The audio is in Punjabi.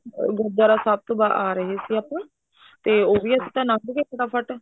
ਗੁਰੂਦਵਾਰਾ ਸਾਹਿਬ ਤੋਂ ਆਹ ਰਹੇ ਸੀ ਆਪਾਂ ਤੇ ਉਹ ਵੀ ਅਸੀਂ ਲੰਘ ਗਏ ਫਟਾ ਫਟ